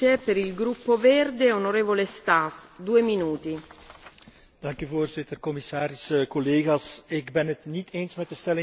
Voorzitter, commissaris, collega's, ik ben het niet eens met de stelling van de rapporteur, mevrouw Girling, en ik ben het ook niet eens met de stelling van de heer Borg.